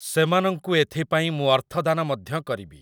ସେମାନଙ୍କୁ ଏଥିପାଇଁ ମୁଁ ଅର୍ଥଦାନ ମଧ୍ୟ କରିବି ।